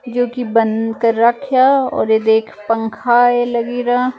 ਜੋ ਕਿ ਬੰਦ ਕਰ ਰਾਖਿਆ ਔਰ ਇਹ ਦੇਖ ਪੰਖਾਂ ਏ ਲੱਗਰਿਆ।